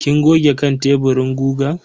Kin goge kan teburin gugan?